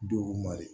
Dɔgɔkun ma de